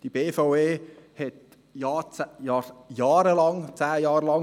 Die BVE verhandelte jahrelang, zehn Jahre lang.